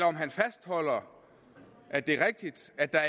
om han fastholder at det er rigtigt at der